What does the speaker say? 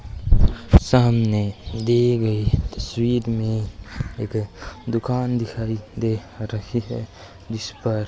सामने दी गयी तस्वीर में एक दुकान दिखाई दे रही है जिसपर --